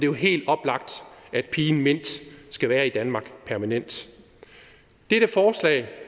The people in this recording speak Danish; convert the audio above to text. jo helt oplagt at pigen mint skal være i danmark permanent dette forslag